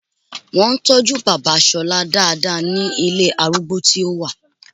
Wọ́n ń tọ́jú bàbá Ṣọlá dáadáa ní ilé arúgbó tí wọ́n wà